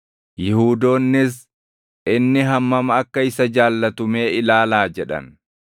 Yihuudoonnis, “Inni hammam akka isa jaallatu mee ilaalaa!” jedhan.